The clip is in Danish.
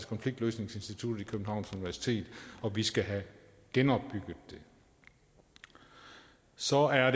konfliktløsningsinstituttet ved københavns universitet og vi skal have genopbygget det så er